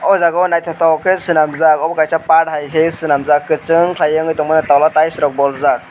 o jaga o naitotok ke selamjak obo kaisa part hai ke selamjak kosong kelai tango towla tiles rok boljak.